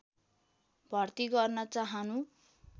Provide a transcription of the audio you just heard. भर्ती गर्न चाहनु